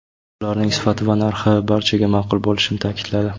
Ularning sifati va narxi barchaga ma’qul bo‘lishini ta’kidladi.